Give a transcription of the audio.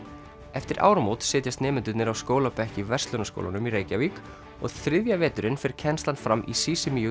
eftir áramót setjast nemendurnir á skólabekk í Verslunarskólanum í Reykjavík og þriðja veturinn fer kennslan fram í Sisimiut